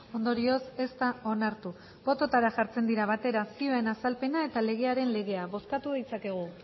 ondorioz ez da onartu bototara jartzen dira batera zioen azalpena eta legearen legea bozkatu ditzakegu